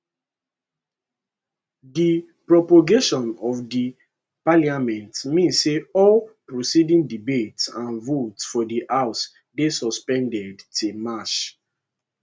di prorogation of di parliament mean say all proceedings debates and votes for di house dey suspended till march